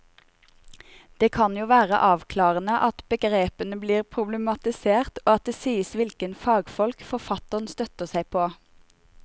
Det kan jo være avklarende at begrepene blir problematisert og at det sies hvilke fagfolk forfatteren støtter seg på.